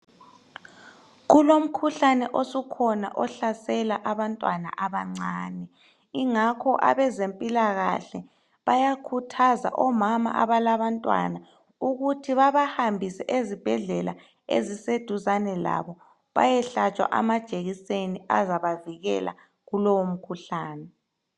Kulomkhuhlane osukhona ohlasela abantwana abancane. Ingakho abezempilakahle bayakhuthaza omama abalabantwana ukuthi babahambise ezibhedlela eziseduzane labo bayehlatshwa amajekiseni azabavikela kulowo mkhuhlane.